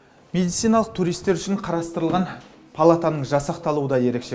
медициналық туристтер үшін қарастырылған палатаның жасақталуы да ерекше